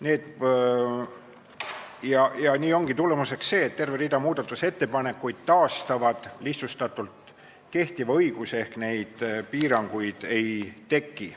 Nii ongi lihtsustatult öeldes tulemuseks see, et terve rida muudatusettepanekuid taastavad kehtiva õiguse ehk neid piiranguid ei teki.